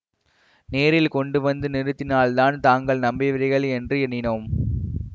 நேரில் கொண்டு வந்து நிறுத்தினால்தான் தாங்கள் நம்புவீர்கள் என்று எண்ணினோம்